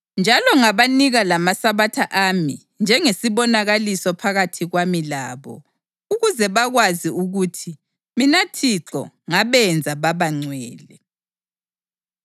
Njalo ngabanika lamaSabatha ami njengesibonakaliso phakathi kwami labo, ukuze bakwazi ukuthi mina Thixo ngabenza baba ngcwele.